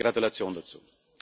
Herzliche Gratulation dazu!